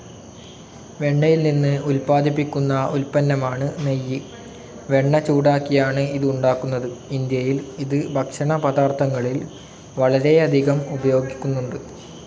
വെണ്ണയിൽ നിന്ന് ഉത്പ്പാദിക്കുന്ന ഉല്പന്നമാണ് നെയ്യ്. വെണ്ണ ചൂടാക്കിയാണ് ഇത് ഉണ്ടാക്കുന്നത്. ഇന്ത്യയിൽ ഇത് ഭക്ഷണ പദാർത്ഥങ്ങളിൽ വളരെയധികം ഉപയോഗിക്കുന്നുണ്ട്.